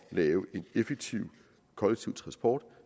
lave en effektiv kollektiv transport